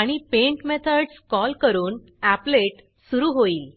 आणि paint methods call करून applet applet सुरू होईल